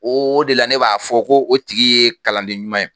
O o de la ne b'a fɔ ko o tigi ye kalanden ɲuman ye